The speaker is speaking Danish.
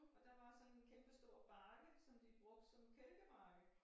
Og der var sådan en kæmpestor bakke som de brugte som kælkebakke